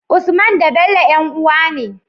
Usman da Bello yan uwa ne